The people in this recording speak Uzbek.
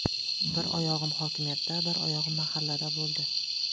Bir oyog‘im hokimiyatda, bir oyog‘im mahallada bo‘ldi.